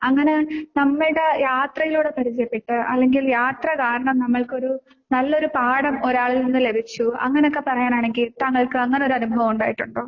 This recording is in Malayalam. അങ്ങനെ നമ്മൾടെ യാത്രയിലൂടെ പരിചയപ്പെട്ട് അല്ലെങ്കിൽ യാത്ര കാരണം നമ്മൾക്കൊരു നല്ലൊരു പാഠം ഒരാളിൽ നിന്ന് ലഭിച്ചു അങ്ങനെക്കെ പറയാനാണെങ്കി താങ്കൾക്ക് അങ്ങനൊരു അനുഭവം ഉണ്ടായിട്ടുണ്ടോ?